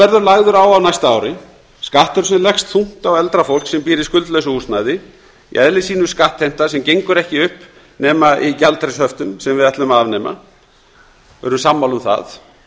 verður lagður á á næsta ári skattur sem leggst þungt á eldra fólk sem býr í skuldlausu húsnæði í eðli sínu skattheimta sem gengur ekki upp nema í gjaldeyrishöftum sem við ætlum að afnema við erum sammála um það